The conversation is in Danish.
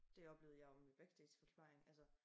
Det oplevede jeg jo i min backstage forplejning altså